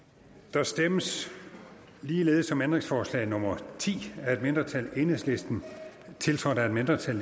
der stemmes ligeledes om ændringsforslag nummer ti af et mindretal tiltrådt af et mindretal